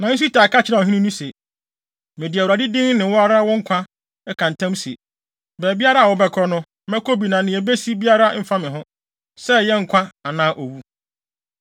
Nanso Itai ka kyerɛɛ ɔhene no se, “Mede Awurade din ne wo ara wo nkwa ka ntam se, baabiara a wobɛkɔ no, mɛkɔ bi a nea ebesi biara mfa me ho; sɛ ɛyɛ nkwa anaa owu.”